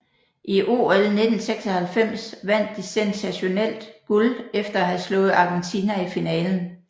I OL 1996 vandt de sensationelt guld efter at have slået Argentina i finalen